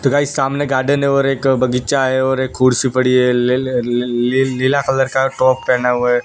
तो गाइस सामने गार्डन है और एक बगीचा है और एक कुर्सी पड़ी है लेले लल ली ली नीला कलर का टॉप पेहना हुआ है।